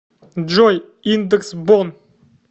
джой индекс бонн